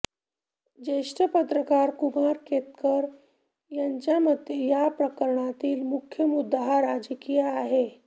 ज्येष्ठ पत्रकार कुमार केतकर यांच्या मते या प्रकरणातील मुख्य मुद्दा हा राजकीय आहे